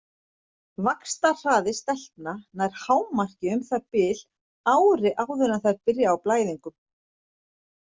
Vaxtarhraði stelpna nær hámarki um það bil ári áður en þær byrja á blæðingum.